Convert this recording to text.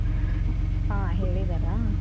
ಹ ಹೇಳಿದಾರ ?